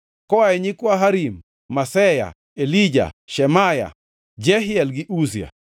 Koa e nyikwa Harim: Maseya, Elija, Shemaya, Jehiel gi Uzia.